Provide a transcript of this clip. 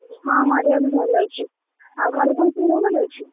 ହଁ, ମୋ ଦେହ ବି ଭଲ ଅଛି, ଆଉ ଘରେ ସମସ୍ତଙ୍କ ଦେହ ଭଲ ଅଛି?